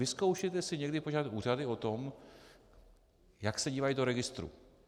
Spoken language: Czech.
Vyzkoušejte si někdy požádat úřady o to, jak se dívají do registru.